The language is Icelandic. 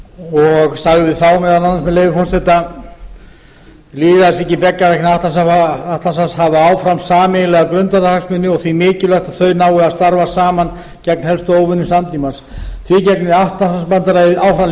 og sagði þá meðal annars með leyfi forseta lýðræðisríki beggja vegna atlantshafs hafa áfram sameiginlega grundvallarhagsmuni og því mikilvægt að þau nái að starfa saman gegn helstu ógnum samtímans því gegnir atlantshafsbandalagið áfram